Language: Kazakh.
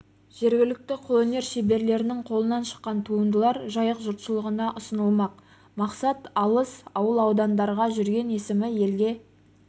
жергілікті қолөнер шеберлерінің қолынан шыққан туындылар жайық жұртшылығына ұсынылмақ мақсат алыс ауыл-аудандарда жүрген есімі елге